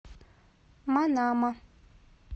манама